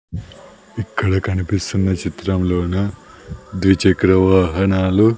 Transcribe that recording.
ఇక్కడ కనిపిస్తున్న చిత్రంలోన ద్విచక్ర వాహనాలు.